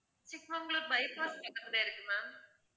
Chikmagalur bypass இது கிட்ட இருக்கு ma'am